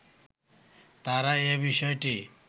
তারা এ বিষয়টি